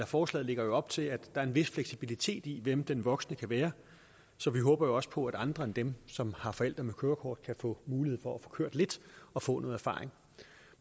forslaget lægger op til at der er en vis fleksibilitet i hvem den voksne kan være så vi håber også på at andre end dem som har forældre med kørekort kan få mulighed for at få kørt lidt og få noget erfaring